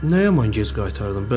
Nə yaman gec qaytardın?